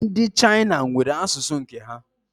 Ndi China nwere asusu nke ha